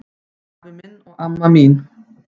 Afi minn og amma mín